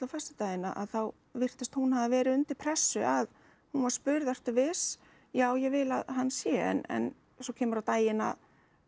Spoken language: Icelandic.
föstudaginn að þá virtist hún hafa verið undir pressu að hún var spurð ertu viss já ég vil að hann sé en svo kemur á daginn að